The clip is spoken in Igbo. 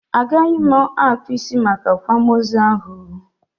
Agaghị m akpụ isi Make akwamozu ahụ oo